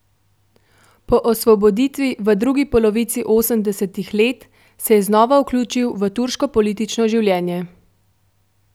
Po osvoboditvi v drugi polovici osemdesetih let se je znova vključil v turško politično življenje.